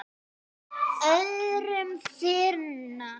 öðrum þyrma.